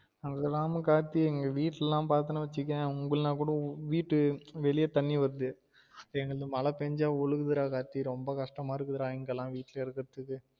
அவ்ளோதான் கார்த்தி எங்கே வீட்டுலலாம் பாத்தேன்னு வச்சிக்கொயன் உங்கள லாம் கூட வீட்டு வெளிய தண்ணி வருது எங்களது மழ பெஞ்சா ஒழுகுது டா கார்த்தி ரொம்ப கஷ்டமா இருக்குதா டா இங்க லாம் வீட்டுல இருக்குறதுக்கு